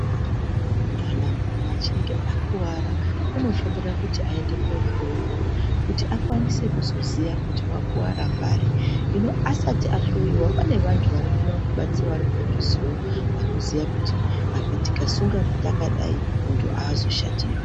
Kana mumwe achinge akuwara unofanira kuti aende kohloyiwa kuti akwanise kiziya kuti wakira pari asati ahloyiwa kune vanthu vanokona kubatsira vari padhuzeo vanoziya kuti apa tikasunga takadai munthu aazoshatirwi.